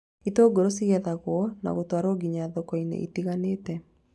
Itũngũrũ cigethagwo na gũtwarwo nginya thoko-ini itiganite